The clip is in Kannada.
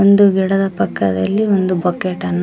ಒಂದು ಗಿಡದ ಪಕ್ಕದಲ್ಲಿ ಒಂದು ಬಕೆಟ್ ಅನ್ನು.